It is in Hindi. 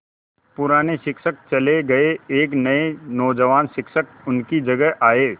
पुराने शिक्षक चले गये एक नये नौजवान शिक्षक उनकी जगह आये